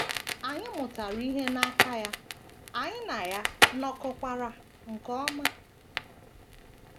Anyị mụtara ihe n’aka ya, anyị na ya nọkọkwara nke ọma.